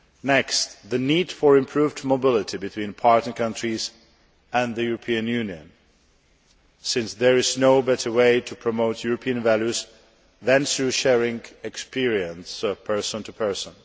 Next, the need for improved mobility between partner countries and the European Union since there is no better way to promote European values than through sharing experience person to person.